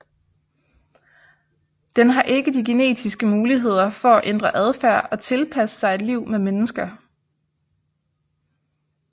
Den har ikke de genetiske muligheder for at ændre adfærd og tilpasse sig et liv med mennesker